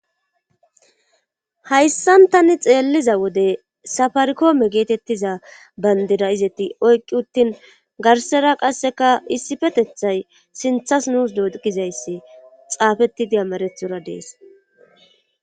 hayssantani xeelliza wode safarkoome geetettiza bandira izeti oyqqi uttin garsera qasseka issifetethay sinthas nuus doogizayssi xaafetidi amarethora dees